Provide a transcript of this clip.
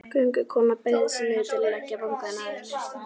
Göngukonan beygði sig niður til að leggja vangann að henni.